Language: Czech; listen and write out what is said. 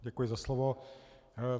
Děkuji za slovo.